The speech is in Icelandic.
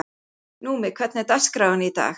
Númi, hvernig er dagskráin í dag?